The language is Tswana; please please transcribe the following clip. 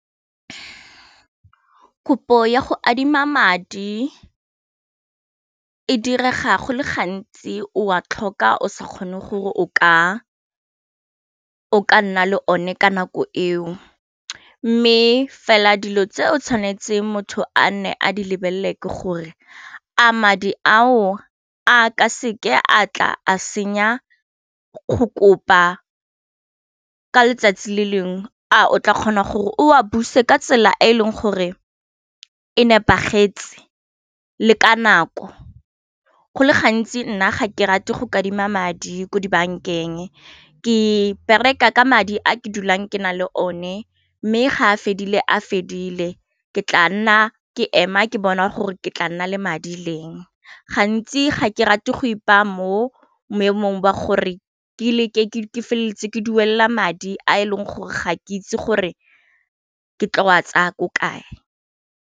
Kopo ya go adima madi e direga go le gantsi o a tlhoka o sa kgone gore o ka nna le one ka nako eo mme fela dilo tse o tshwanetseng motho a nne a di lebelele ke gore a madi ao a ka seke a tla a senya go kopa ka letsatsi le lengwe a o tla kgona gore o a buse ka tsela e e leng gore e nepagetseng le le ka nako go le gantsi nna ga ke rate go kadima madi ko dibankeng ke bereka ka madi a ke dulang ke nang le o ne mme ga a fedile a fedile ke tla nna ke ema ke bona gore ke tla nna le madi leng, gantsi ga ke rate go ipa mo maemong ba gore ke le ke feleleditse ke duela madi a e leng gore ga ke itse gore ke tla wa tsaya ko kae.